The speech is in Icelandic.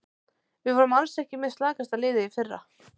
Við vorum alls ekki með slakasta liðið í fyrra.